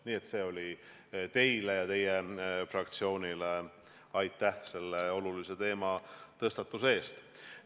Nii et see oli teile ja teie fraktsioonile aitäh selle olulise teema tõstatuse eest.